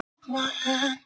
Hann tók á rás.